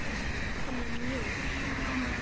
Hann er mjór.